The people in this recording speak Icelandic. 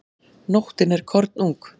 Nóttin er kornung.